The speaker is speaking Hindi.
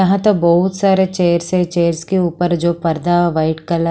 यहां तो बहुत सारे चेयर्स हैं चेयर्स के ऊपर जो पर्दा है व्हाइट कल--